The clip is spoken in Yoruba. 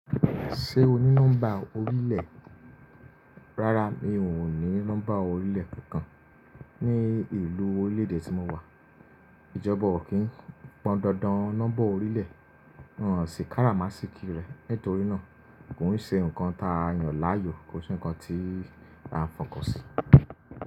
Ṣé o ní nọ́mbà orílẹ̀? Rárá, mi ò ní nọ́mbà orílẹ̀ kankan. Ni ìlú orílè-èdè tí mo wà, ìjọba ò kí ń pọn dandan nọ́mbà orílẹ̀. Won sì káramásìkí rẹ. Nítorí náà, kò n ṣe ǹkan ta yàn láàyò, kò sí ǹkan tí à ń fọkan sí.